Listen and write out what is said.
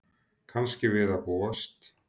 Kannski við að búast.